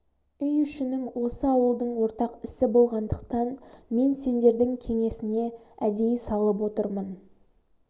үй ішінің осы ауылдың ортақ ісі болғандықтан мен сендердің кеңесіне әдейі салып отырмын